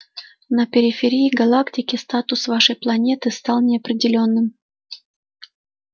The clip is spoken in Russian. на периферии галактики статус вашей планеты стал неопределённым